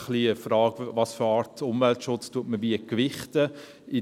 Die Frage ist ein bisschen, welche Art Umweltschutz man wie gewichten will.